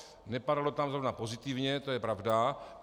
Nepadalo tam zrovna pozitivně, to je pravda.